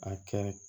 A kɛ